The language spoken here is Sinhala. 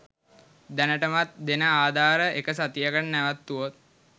දැනටමත් දෙන ආධාර එක සතියකට නැවැත්තුවොත්